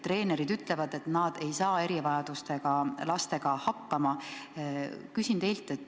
Treenerid ütlevad, et nad ei saa erivajadustega lastega hakkama.